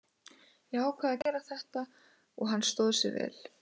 Ég ákvað að gera þetta og hann stóð sig vel.